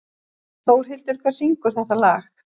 Þórhildur, hver syngur þetta lag?